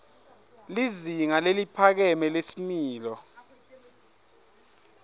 lizinga leliphakeme lesimilo